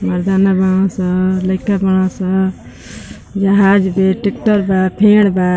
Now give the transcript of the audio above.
मरदाना बाड़न स लईका बाड़न स जहाज बे टेक्टर बा फेंड़ बा।